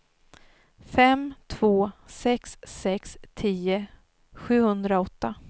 fem två sex sex tio sjuhundraåtta